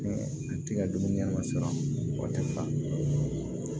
A tɛ ka dumuni kɛ ka sa o tɛ fa